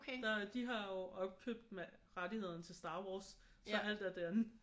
Der de har jo opkøbt rettighederne til Star Wars så alt er derinde